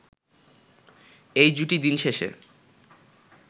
এই জুটি দিনশেষে